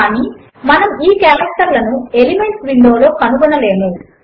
కానీ మనము ఈ కారెక్టర్లను ఎలిమెంట్స్ విండో లో కనుగోనలేము